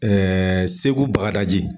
Segu Bagadaji.